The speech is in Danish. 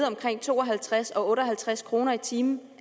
omkring to og halvtreds kroner og otte og halvtreds kroner i timen